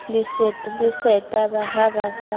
le seta ha ba sa